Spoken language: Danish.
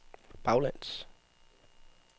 baglæns